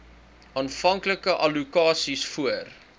aanvanklike allokasies voor